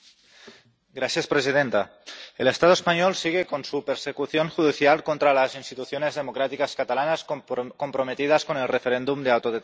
Señora presidenta, el Estado español sigue con su persecución judicial contra las instituciones democráticas catalanas, comprometidas con el referéndum de autodeterminación.